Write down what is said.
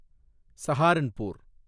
Saharanpur